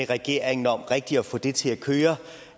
regeringen om rigtig at få det til at køre